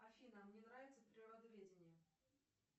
афина мне нравится природоведение